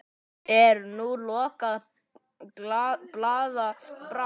Er nú lokuð glaða bráin?